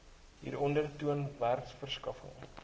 hieronder toon werkverskaffing